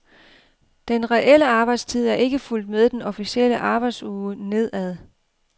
Den reelle arbejdstid er ikke fulgt med den officielle arbejdsuge nedad.